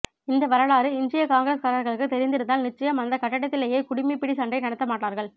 இந்த வரலாறு இன்றைய காங்கிரஸ்காரர்களுக்கு தெரிந்திருந்தால் நிச்சயம் அந்த கட்டிடத்திலேயே குடிமிப் பிடி சண்டை நடத்த மாட்டார்கள்